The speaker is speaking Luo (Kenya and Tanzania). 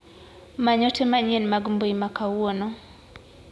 Many ote manyien mag mbui ma kawuono.